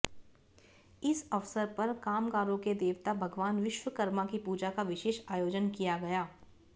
इस अवसर पर कामगारों के देवता भगवान विश्वकर्मा की पूजा का विशेष आयोजन किया गया